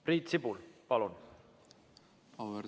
Priit Sibul, palun!